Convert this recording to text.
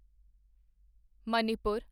Manipur